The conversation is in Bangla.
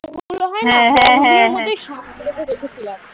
দেখেছিলাম